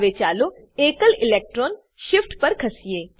હવે ચાલો એકલ ઇલેક્ટ્રોન શિફ્ટ પર ખસીએ